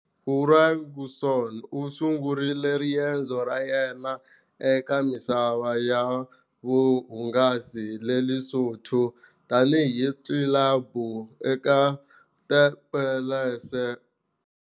Ferguson u sungurile riendzo ra yena eka misava ya vuhungasi eLesotho tanihi club eka The Palace.